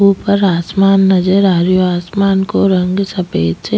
ऊपर आसमान नजर आ रो आसमान को रंग सफ़ेद छे।